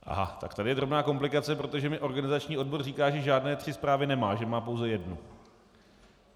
Aha, tak tady je drobná komplikace, protože mi organizační odbor říká, že žádné tři zprávy nemá, že má pouze jednu.